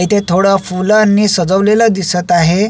इथे थोड फुलाणी सजवलेल दिसत आहे.